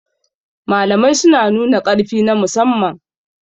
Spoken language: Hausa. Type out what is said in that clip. Jarumai suna nuna ƙarfi na musamman.